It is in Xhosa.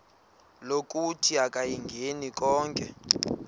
lokuthi akayingeni konke